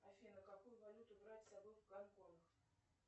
афина какую валюту брать с собой в гонконг